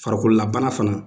Farikololabana fana